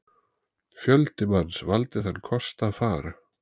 Fjöldi manns valdi þann kost að fara.